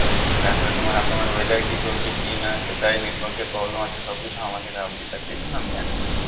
তারপরে তোমার আসামের weather এ কি চলছে কি না কোথায় network এর problem আছে সব কিছু আমার কাছে update আসে এই জন্য আমি জানি